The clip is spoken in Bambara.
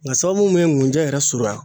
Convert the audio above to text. Nga sababu mun ye ŋunjɛ yɛrɛ surunya